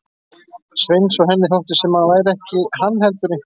Sveins og henni þótti sem hann væri ekki hann heldur einhver annar.